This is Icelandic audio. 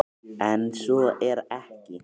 En svo er ekki.